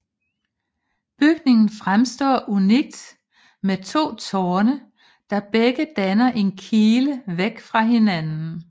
Bygningen fremstår unikt med to tårne der begge danner en kile væk fra hinanden